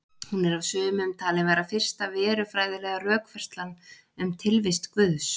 Hún er af sumum talin vera fyrsta verufræðilega rökfærslan um tilvist Guðs.